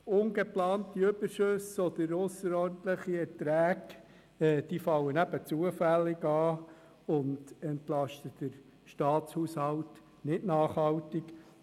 Ungeplante Überschüsse oder ausserordentliche Erträge fallen eben zufällig an und entlasten den Staatshaushalt nicht nachhaltig.